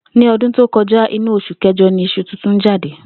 Ní o̩dún tó ko̩já, inú os̩ù ké̩jo̩ ni is̩u titun jáde